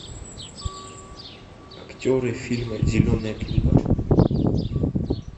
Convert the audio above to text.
актеры фильма зеленая книга